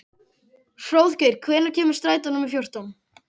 Hróðgeir, hvenær kemur strætó númer fjórtán?